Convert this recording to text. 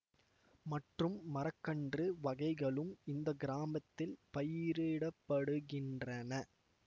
மற்றும் மரக்கன்று வகைகளும் இந்த கிராமத்தில் பயிரிட படுகின்றன